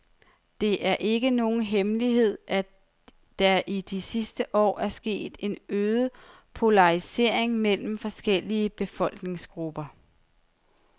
Det er ikke nogen hemmelighed, at der i de sidste år er sket en øget polarisering mellem forskellige befolkningsgrupper.